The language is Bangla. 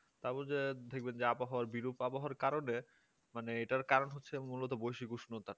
তাও বুঝে দেখবেন যে আবহাওয়ার বিরূপ আবহাওয়ার কারণে মানে এটার কারণ হচ্ছে মূলত বৈশ্বিক উষ্ণতা